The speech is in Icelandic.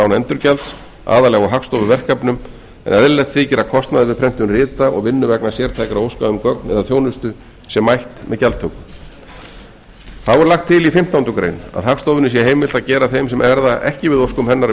án endurgjalds aðallega á hagstofuverkefnum en eðlilegt þykir að kostnaður við prentun rita og vinnu vegna sértækra óska um gögn eða þjónustu sé mætt með gjaldtöku þá er lagt til í fimmtándu grein að hagstofunni sé heimilt að gera þeim sem verða ekki við óskum hennar um